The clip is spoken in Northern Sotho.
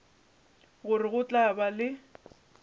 gore go tla ba le